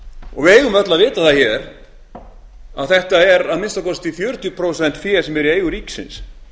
og við eigum öll að vita það að þetta er að minnsta kosti fjörutíu prósent fé sem er í eigu ríkisins